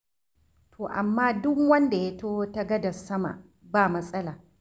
To amma duk wanda ya taho ta gadar sama, ba matsala.